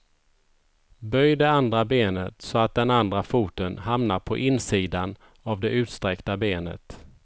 Böj det andra benet så att den andra foten hamnar på insidan av det utsträckta benet.